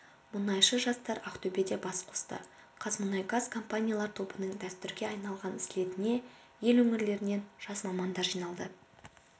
мұнайшы жастар ақтөбеде бас қосты қазмұнайгаз компаниялар тобының дәстүрге айналған слетіне ел өңірлерінен жас мамандар жиналды